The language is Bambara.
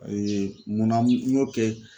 munna n y'o kɛ?